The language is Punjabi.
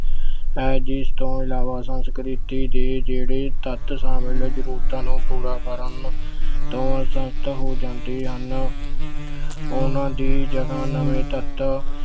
ਹੈ, ਜਿਸ ਤੋਂ ਇਲਾਵਾ ਸੰਸਕ੍ਰਿਤੀ ਦੇ ਜਿਹੜੇ ਤੱਤ ਸ਼ਾਮਿਲ ਜ਼ਰੂਰਤਾਂ ਨੂੰ ਪੂਰਾ ਕਰਨ ਤੋਂ ਹੋ ਜਾਂਦੇ ਹਨ ਉਹਨਾਂ ਦੀ ਜਗ੍ਹਾ ਨਵੇਂ ਤੱਤ